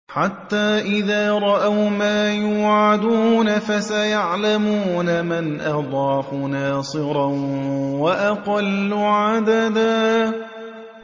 حَتَّىٰ إِذَا رَأَوْا مَا يُوعَدُونَ فَسَيَعْلَمُونَ مَنْ أَضْعَفُ نَاصِرًا وَأَقَلُّ عَدَدًا